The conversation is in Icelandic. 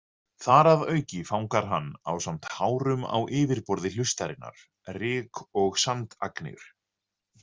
Þar að auki fangar hann, ásamt hárum á yfirborði hlustarinnar, ryk- og sandagnir.